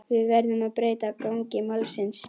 Við verðum að breyta gangi málsins.